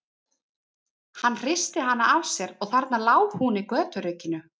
Hann hristi hana af sér og þarna lá hún í göturykinu.